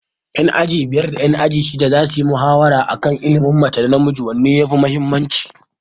Ƴan aji shidda da ƴan aji biyar za suyi muhawara a kan tsakanin ilimin mace da namiji wanne yafi muhimmanci.